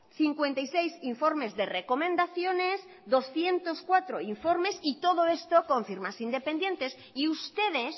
cincuenta y seis informes de recomendaciones doscientos cuatro informes y todo esto con firmas independientes y ustedes